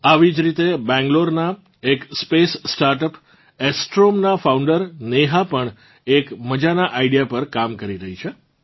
આવી જ રીતે બેંગલોરનાં એક સ્પેસ સ્ટાર્ટઅપસાસ્ટ્રોમ નાં ફાઉન્ડર નેહા પણ એક મજાનાં આઇડીઇએ પર કામ કરી રહ્યાં છે